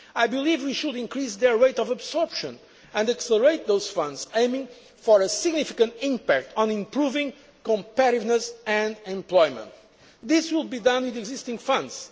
policy. I believe we should increase their rate of absorption and accelerate those funds, aiming for a significant impact on improving competitiveness and employment. This will be done within the existing